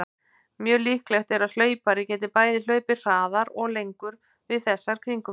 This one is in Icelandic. Mjög líklegt er að hlaupari geti bæði hlaupið hraðar og lengur við þessar kringumstæður.